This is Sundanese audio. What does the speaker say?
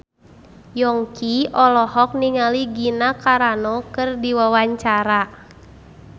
Yongki olohok ningali Gina Carano keur diwawancara